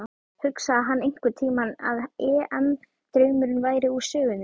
Hugsaði hann einhverntímann að EM draumurinn væri úr sögunni?